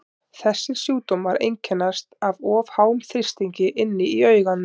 Þessir sjúkdómar einkennast af of háum þrýstingi inni í auganu.